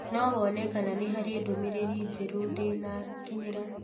no wone kana nĩ harĩ ndũmĩrĩri njerũ ndĩ nakinyĩra